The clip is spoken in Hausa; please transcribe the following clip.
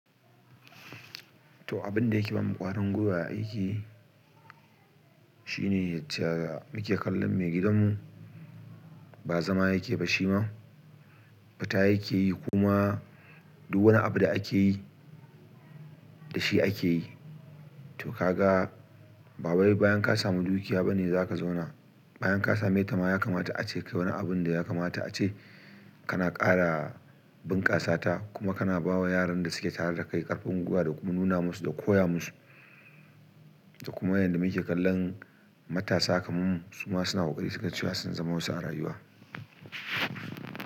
To, abin da yake ba mu ƙwarin gwiwa a aiki shine yacca muke kallon maigidanmu, ba zama yake ba shi ma, fita yake yi kuma duk wani abu da ake yi da shi ake yi. To ka ga bawai bayan ka samu dukiya ba ne za ka zauna. Bayan ka same ta ma ya kamata a ce kai yi wani abun da ya kamata a ce kana ƙara bunƙasa ta kuma kana ba wa yaran da suke tare da kai ƙarfin gwiwa da kuma nuna musu da koya musu. Da kuma yanda muke kallon matasa kaman mu suma suna ƙoƙari suga cewa sun zama wasu a rayuwa.